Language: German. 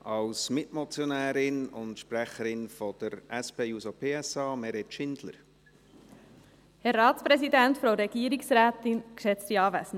Als Mitmotionärin und Sprecherin der SP-JUSO-PSA-Fraktion hat Grossrätin Schindler das Wort.